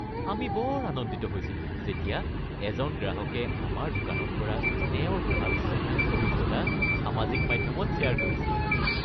আমি বৰ আনন্দিত হৈছিলো যেতিয়া এজন গ্ৰাহকে আমাৰ দোকানত কৰা তেওঁৰ ভাল শ্বপিং অভিজ্ঞতা সামাজিক মাধ্যমত শ্বেয়াৰ কৰিছিল।